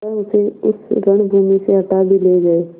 वह उसे उस रणभूमि से हटा भी ले गये